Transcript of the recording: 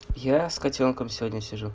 я с котёнком сегодня сижу